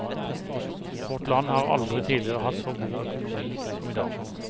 Vårt land har aldri tidligere hatt så god økonomi som i dag.